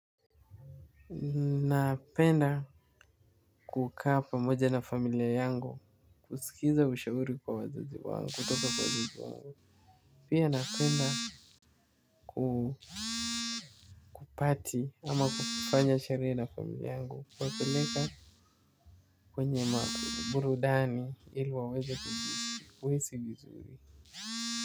Napenda kukaa pamoja na familia yangu, kusikiliza ushauri kwa wazazi wangu, kutoka kwa wazazi wangu. Pia napenda kupati ama kufanya sherehe na familia yangu, kuwapeleka kwenye maku burudani ili waweze kujisi kuhisi vizuri.